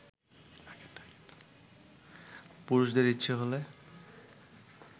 পুরুষদের ইচ্ছে হলে